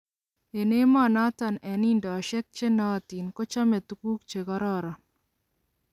En amunoton en indosiek chenootin kochome tuguuk chekororon.